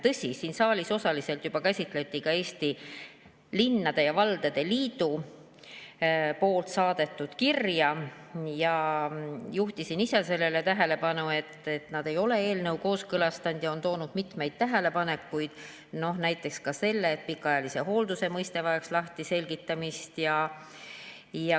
Tõsi, siin saalis osaliselt juba käsitleti Eesti Linnade ja Valdade Liidu saadetud kirja ja ma juhtisin ise sellele tähelepanu, et nad ei ole eelnõu kooskõlastanud ja on esitanud mitmeid tähelepanekuid, näiteks ka selle kohta, et pikaajalise hoolduse mõiste vajaks lahtiselgitamist.